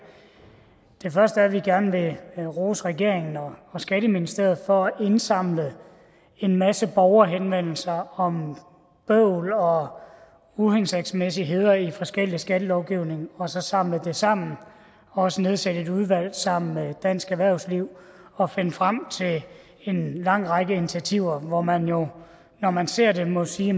det første er at vi gerne vil rose regeringen og skatteministeriet for at indsamle en masse borgerhenvendelser om bøvl og uhensigtsmæssigheder i forskellig skattelovgivning og så samle det sammen og også nedsætte et udvalg sammen med dansk erhvervsliv og finde frem til en lang række initiativer hvor man jo når man ser det må sige